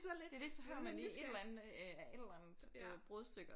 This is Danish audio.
Det det så hører man lige et eller andet et eller andet brudstykker